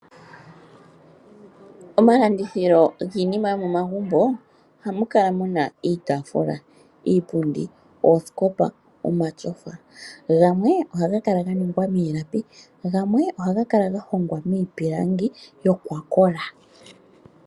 Omalandithilo giinima yomomagumbo ohamu kala muna iitaafula, iipundi, oosikopa nomatyofa . Gamwe ohaga kala ga ningwa miilapi gamwe ohaga kala ga hongwa miipilangi yokwakola.